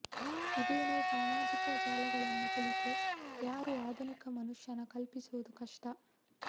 ಇದೇನೇ ಸಾಮಾಜಿಕ ಜಾಲಗಳನ್ನು ಕುಳಿತು ಯಾರು ಆಧುನಿಕ ಮನುಷ್ಯನ ಕಲ್ಪಿಸುವುದು ಕಷ್ಟ